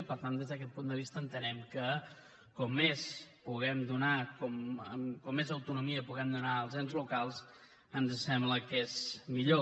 i per tant des d’aquest punt de vista entenem que com més puguem donar com més autonomia puguem donar als ens locals ens sembla que és millor